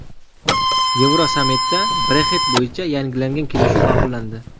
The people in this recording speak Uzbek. Yevrosammitda Brexit bo‘yicha yangilangan kelishuv ma’qullandi.